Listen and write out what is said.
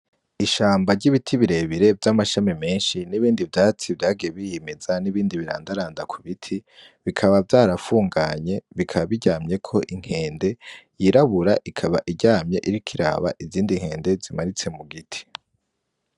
Ishamba ry'ibiti birebire n'amashami menshi nibindi vyatsi vyagiye birimeza nibindi birandaranda ku biti bikaba vyarafunganye bikaba biryamyeko inkende yirabura ikaba iryamye iriko iraba izindi zimanutse ku giti.